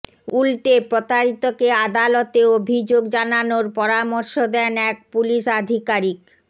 উল্টে প্রতারিতকে আদালতে অভিযোগ জানানোর পরামর্শ দেন এক পুলিশ আধিকারিক